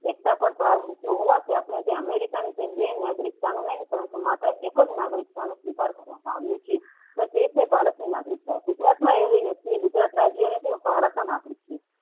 એકતા પાર ભાર મુક્યો હોવાથી અમેરિકાની જેમ નાગરિકતાની પરંતુ માત્ર એક જ નાગરિકતાને સ્વીકાર કરવામાં આવ્યું છે એ છે ભારતની નાગરિકતા ગુજરાતમાં રહેલી વ્યક્તિ ગુજરાત રાજ્ય ની છે.